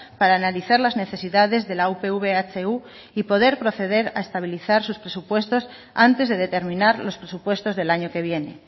para analizar las necesidades de la upv ehu y poder proceder a estabilizar sus presupuestos antes de determinar los presupuestos del año que viene